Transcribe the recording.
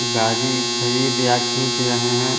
गाड़ी खरीद या खींच रहे हैं।